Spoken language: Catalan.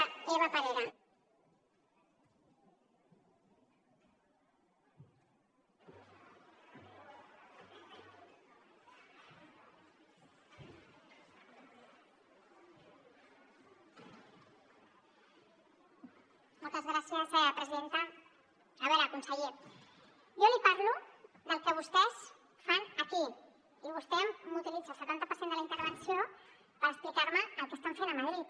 a veure conseller jo li parlo del que vostès fan aquí i vostè m’utilitza el setanta per cent de la intervenció per explicar me el que estan fent a madrid